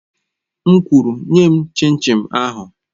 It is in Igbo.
M kwuru, nye m chin chin ahụ!